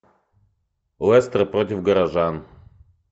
лестер против горожан